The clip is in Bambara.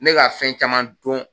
Ne ka fɛn caman dɔn